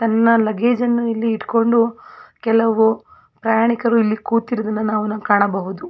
ತನ್ನ ಲಗೇಜ್ ಅನ್ನು ಇಲ್ಲಿ ಇಟ್ಟಕೊಂಡು ಕೆಲವು ಪ್ರಯಾಣಿಕರು ಇಲ್ಲಿ ಕೂತಿರುವುದನ್ನು ನಾವು ಕಾಣಬಹುದು.